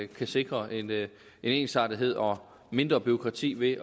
kan sikre en en ensartethed og mindre bureaukrati ved